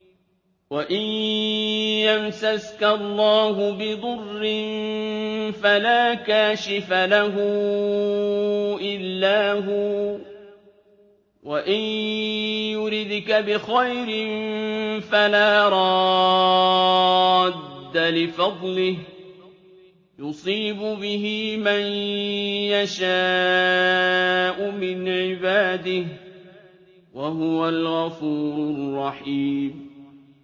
وَإِن يَمْسَسْكَ اللَّهُ بِضُرٍّ فَلَا كَاشِفَ لَهُ إِلَّا هُوَ ۖ وَإِن يُرِدْكَ بِخَيْرٍ فَلَا رَادَّ لِفَضْلِهِ ۚ يُصِيبُ بِهِ مَن يَشَاءُ مِنْ عِبَادِهِ ۚ وَهُوَ الْغَفُورُ الرَّحِيمُ